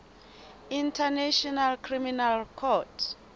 international criminal court